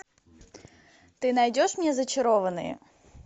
ты найдешь мне зачарованные